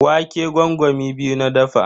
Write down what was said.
Wake gwangwami biyu na dafa.